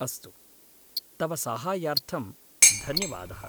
अस्तु, तव साहाय्यार्थं धन्यवादः।